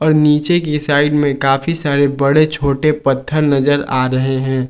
नीचे के साइड में काफी सारे बड़े छोटे पत्थर नज़र आ रहे हैं।